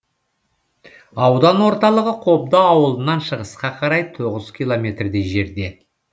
аудан орталығы қобда ауылынан шығысқа қарай тоғыз километрдей жерде